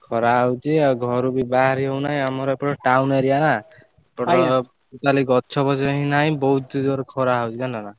ଖରା ହଉଛି ଆଉ ଘରୁ ବି ବାହାରି ହଉ ନାହିଁ ଆମର ଏପଟ town area ନା totally ଗଛ ପଛ ବି ନାହିଁ ବହୁତ ଜୋରେ ଖରା ହଉଛି ଜାଣିଲ ନା?